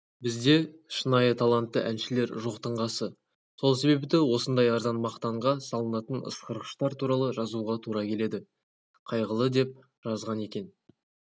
бізде шынайы талантты әншілер жоқтың қасы сол себепті осындай арзан мақтанға салынатын ысқырғыштар туралы жазуға тура келеді қайғылы деп жазған екен